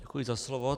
Děkuji za slovo.